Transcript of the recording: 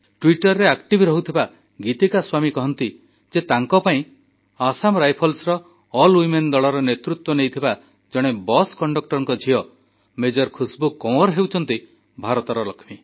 ଟ୍ୱିଟରରେ ସକ୍ରିୟ ରହୁଥିବା ଗୀତିକା ସ୍ୱାମୀ କହନ୍ତି ଯେ ତାଙ୍କ ପାଇଁ ଆସାମ ରାଇଫଲ୍ସର ଅଲ୍ୱିମେନ୍ ଦଳର ନେତୃତ୍ୱ ନେଇଥିବା ଜଣେ ବସ୍ କଣ୍ଡକ୍ଟରଙ୍କ ଝିଅ ମେଜର ଖୁସବୁ କୱଁର ହେଉଛନ୍ତି ଭାରତର ଲକ୍ଷ୍ମୀ